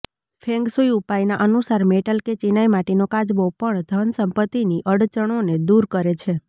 feng shui ઉપાયના અનુસાર metal કે ચિનાઈ માટીનો કાચબો પણ ધન સંપત્તિની અડચણોને દૂર કરે છે